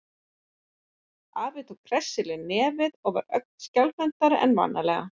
Afi tók hressilega í nefið og var ögn skjálfhentari en vanalega.